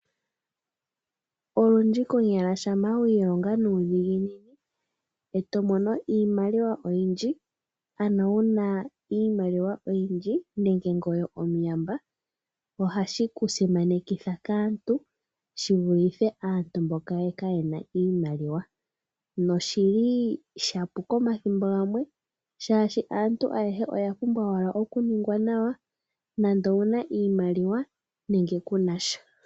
Olundji konyala shampa wi ilonga nuudhigu eto mono iimaliwa oyindji ano wuna iimaliwa oyindji nenge ngoye omuyamba ohashi ku simanekitha kaantu shivulithe aantu mboka kayena iimaliwa, noshili shapuka omathimbo gamwe oshoka aantu ayehe oyapumbwa okuningwa nawa nande owuna iimaliwa nenge kunasha.